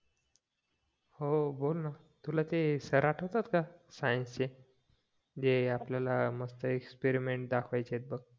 हो बोलणं तुला ते सर आठवतात का सायन्सचे जे आपल्याला मस्त एक्सपिरिमेंट दाखवायचे बघ